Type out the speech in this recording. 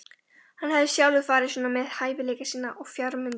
Hann hafði sjálfur farið svona með hæfileika sína og fjármuni.